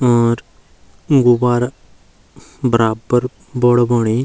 और दुई गुब्बारा बराबर बड़ा बणी।